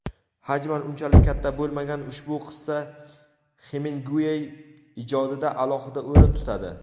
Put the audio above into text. Hajman unchalik katta bo‘lmagan ushbu qissa Xeminguey ijodida alohida o‘rin tutadi.